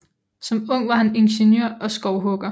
Som ung var han ingeniør og skovhugger